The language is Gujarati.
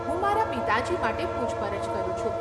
હું મારા પિતાજી માટે પુછપરછ કરું છું.